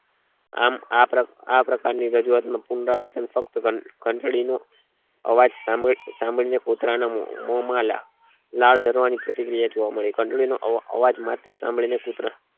આમ આ પ્રકા પ્રકાર ની રજૂઆત નું પુનરાવર્તન ફક્ત ઘંટડી નું અવાજ સામાન્ય સામાન્ય કુતરા ના મોમાં માં લાળ જારવા ની પ્રતિક્રિયા જોવા મળી ઘંટડીનો અવા આવાજ માત્ર સાંભળી ને કુતરો